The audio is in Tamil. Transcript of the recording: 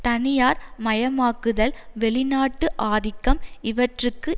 தனியார் மயமாக்குதல் வெளிநாட்டு ஆதிக்கம் இவற்றிற்கு